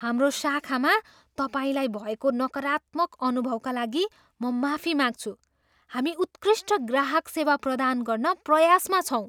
हाम्रो शाखामा तपाईँलाई भएको नकारात्मक अनुभवका लागि म माफी माग्छु। हामी उत्कृष्ट ग्राहक सेवा प्रदान गर्न प्रयासमा छौँ।